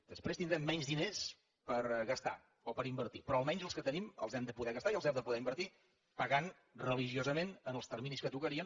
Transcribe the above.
després tindrem menys diners per gastar o per invertir però almenys els que tenim els hem de poder gastar i els hem de poder invertir pagant religiosament en els terminis que tocarien